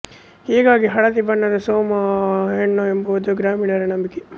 ಹೀಗಾಗಿ ಹಳದಿ ಬಣ್ಣದ ಸೋಮ ಹೆಣ್ಣು ಎಂಬುದು ಗ್ರಾಮೀಣರ ನಂಬಿಕೆ